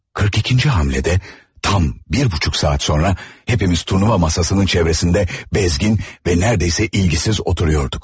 42-ci hamledə tam 1 buçuk saat sonra hepimiz turnuva masasının çevrəsində bezgin və neredeyse ilgisiz oturuyorduk.